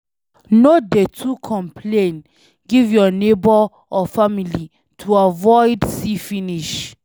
No dey too complain give your neigbour or family to avoid see finish